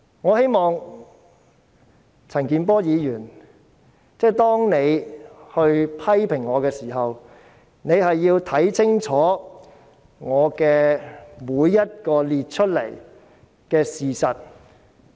我希望陳健波議員批評我時，要看清楚我列舉的每件事實。